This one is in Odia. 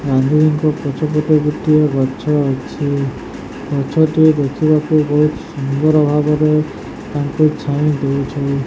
ଗାନ୍ଧୀଜୀଙ୍କ ପଛ ପଟେ ଗୋଟିଏ ଗଛ ଅଛି। ଗଛ ଟିଏ ଦେଖିବାକୁ ବୋହୁତ ସୁନ୍ଦର ଭାବରେ ତାଙ୍କୁ ଛାଇଁ ଦୋଉଛି।